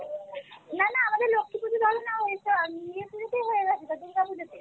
না না আমাদের লক্ষী পূজো জানো না ঐতো ইয়েতে হয়ে গেছে তো দূর্গা পুজো তে